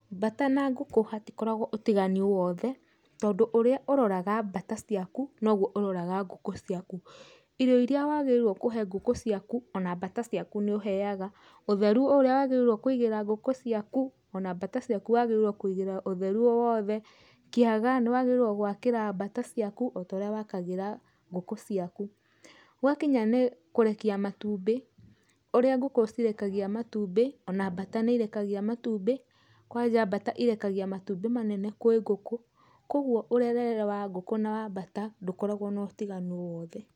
Mbata na ngũkũ hatikoragwo ũtiganu wothe, tondũ ũrĩa ũroraga mbata ciaku nogwo ũroraga ngũkũ ciaku. Irio iria wagĩrĩirwo kũhe ngũkũ ciaku, ona mbata ciaku nĩ ũheaga. Ũtheru o ũrĩa wagĩrĩirwo kũigĩra ngũkũ ciaku, ona mbata ciaku wagĩrĩirwo kũigĩra ũtheru o wothe. Kĩaga nĩ wagĩrĩirwo gũakĩra mbata ciaku, o ta ũrĩa wakagĩra ngũkũ ciaku. Gwakinya nĩ kũrekia matumbĩ, ũrĩa ngũkũ cirekagia matumbĩ, ona mbata nĩ irekagia matumbĩ, kwanja mbata irekagia matumbĩ manene kwĩ ngũkũ, kogwo ũrerere wa ngũkũ na mbata ndũkoragwo na ũtiganu o wothe.